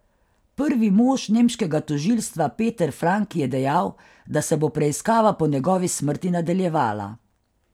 Prvi mož nemškega tožilstva Peter Frank je dejal, da se bo preiskava po njegovi smrti nadaljevala.